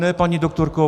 Ne, paní doktorko.